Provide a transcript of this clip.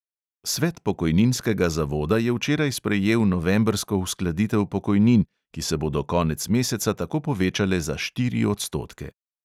Svet pokojninskega zavoda je včeraj sprejel novembrsko uskladitev pokojnin, ki se bodo konec meseca tako povečale za štiri odstotke.